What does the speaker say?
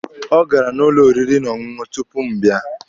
Ọ gara n'ụlọ oriri na ọṅụṅụ tupu m bịa.